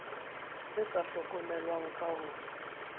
e sa hlokomelweng ka ho